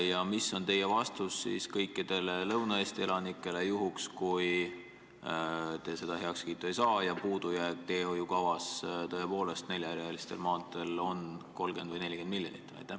Ja milline on teie vastus kõikidele Lõuna-Eesti elanikele juhul, kui te seda heakskiitu ei saa ja teedehoiukava puudujääk neljarealiste maanteede ehitamisel on tõepoolest 30 või 40 miljonit?